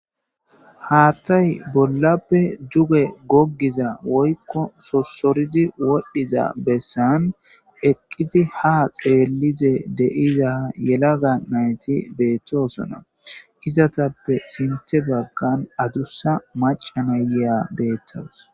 haattay bollappe juge goggiza woykko sossoridi wodhdhiza bessan eqqiti ha xeelide deiza yelaga nayti beettoosana hizatappe sinthe baggan adussa macana neya beettawus